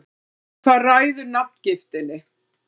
Hvað ræður nafngiftinni?